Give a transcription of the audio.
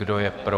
Kdo je pro?